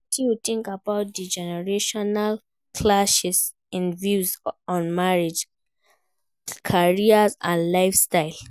Wetin you think about di generational clashes in views on marriage, career, and lifestyle?